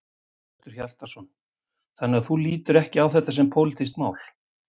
Hjörtur Hjartarson: Þannig að þú lítur ekki á þetta sem pólitískt mál?